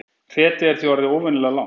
Hretið er því orðið óvenjulega langt